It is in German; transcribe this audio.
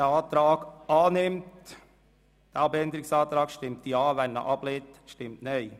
Wer diesen Abänderungsantrag annimmt, stimmt Ja, wer diesen ablehnt, stimmt Nein.